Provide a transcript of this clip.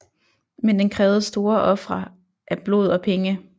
Men den krævede store ofre af blod og penge